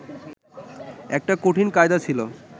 একটা কঠিন কায়দা ছিল